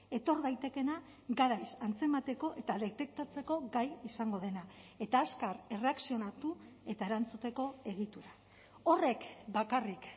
etor daitekeena garaiz antzemateko eta detektatzeko gai izango dena eta azkar erreakzionatu eta erantzuteko egitura horrek bakarrik